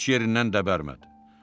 Heç yerindən də bərəmədi.